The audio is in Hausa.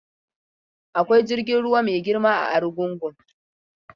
Akwai jirgin ruwa mai girma a Arugungun.